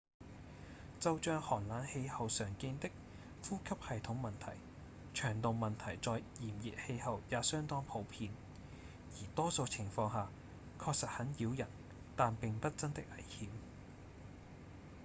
就像寒冷氣候常見的呼吸系統問題腸道問題在炎熱氣候也相當普遍而多數情況下確實很擾人但並不真的危險